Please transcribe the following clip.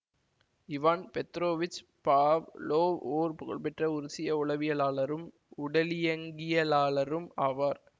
Ivan Petrovich Pavlov ஓர் புகழ்பெற்ற உருசிய உளவியலாளரும் உடலியங்கியலாளரும் ஆவார்